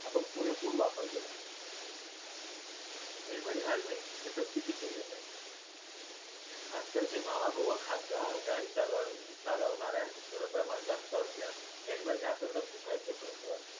आपण पुरेपूर वापर केला पाहिजे. helmet घालणे हे सक्तीचे केले पाहिजे. आजकालचे मावा गोवा खात गा गाडी चालवर चालवणाऱ्यांचे प्रमाण जास्त असल्यास helmet घातला तर थुकायच कस?